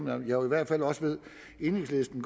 jeg ved jo i hvert fald at enhedslisten